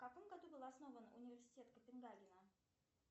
в каком году был основан университет копенгагена